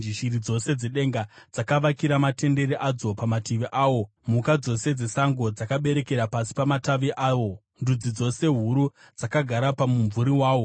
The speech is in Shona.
Shiri dzose dzedenga dzakavakira matendere adzo pamatavi awo, mhuka dzose dzesango dzakaberekera pasi pamatavi awo; ndudzi dzose huru dzakagara pamumvuri wawo.